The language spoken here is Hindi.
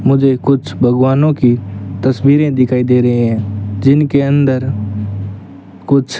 मुझे कुछ भगवानों की तस्वीरें दिखाई दे रहे हैं जिनके अंदर कुछ --